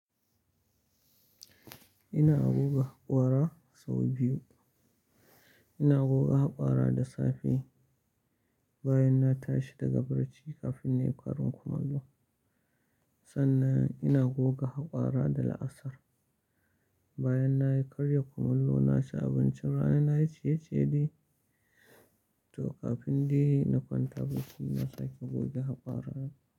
Ina goga haƙora sau biyu. Ina goga haƙora da safe, bayan na tashi daga bacci kafin na yi ƙarin kumallo. Sannan ina goga haƙora da la'asar, bayan na yi ƙarya kumallo na ci abincin rana na yici-yeciye dai to kafin na kwanta bacci na sake goge haƙora na.